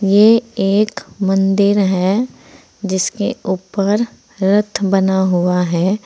ये एक मंदिर है जिसके ऊपर रथ बना हुआ है।